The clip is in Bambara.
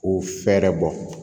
K'o fɛɛrɛ bɔ